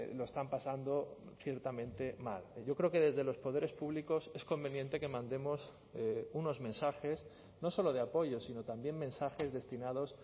lo están pasando ciertamente mal yo creo que desde los poderes públicos es conveniente que mandemos unos mensajes no solo de apoyo sino también mensajes destinados